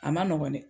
A ma nɔgɔn dɛ